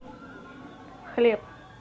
хлеб